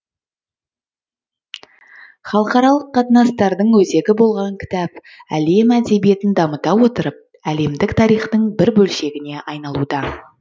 халықаралық қатынастардың өзегі болған кітап әлем әдебиетін дамыта отырып әлемдік тарихтың бір бөлшегіне айналуда